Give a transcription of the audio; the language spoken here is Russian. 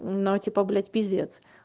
но типа блять пиздец